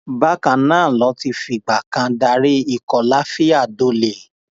bákan náà ló ti fìgbà kan darí ikọ lafiya dole